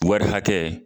Wari hakɛ